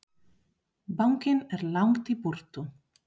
Bankinn er langt í burtu.